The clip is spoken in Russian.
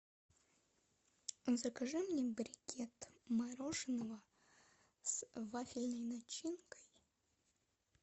закажи мне брикет мороженого с вафельной начинкой